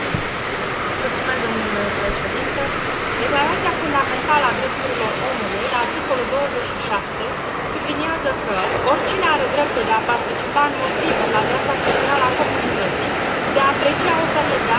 Declarația fundamentală a drepturilor omului, la articolul 27, subliniază că oricine are dreptul de a participa în mod liber la viața culturală a comunității, de a aprecia operele de artă și de a beneficia de progresul științific.